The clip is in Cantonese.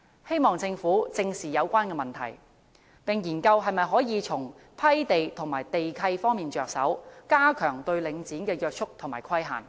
希望政府正視有關問題，並研究可否從批地和地契方面着手，加強對領展的約束和規限。